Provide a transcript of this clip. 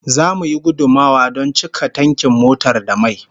Zamu yi gudummawa don cika tankin motar da mai